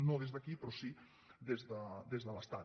no des d’aquí però sí des de l’estat